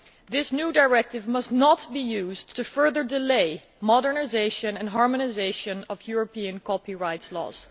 This new directive must not be used to further delay the modernisation and harmonisation of European copyright laws.